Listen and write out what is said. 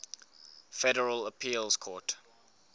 federal appeals court